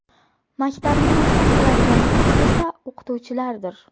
Maktabni maktab qiladigan kuch esa o‘qituvchilardir.